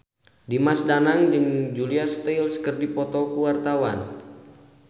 Dimas Danang jeung Julia Stiles keur dipoto ku wartawan